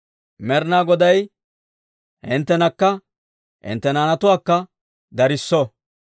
Med'inaa Goday hinttenakka hintte naanatuwaakka darisso!